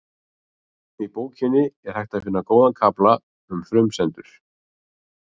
Í bókinni er hægt að finna góðan kafla um frumsendur.